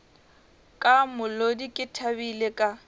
ka molodi ke thabile ka